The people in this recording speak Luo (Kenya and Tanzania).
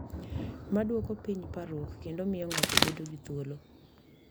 Ma dwoko piny parruok kendo miyo ng’ato bedo gi thuolo.